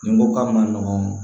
Ni n ko k'a ma nɔgɔn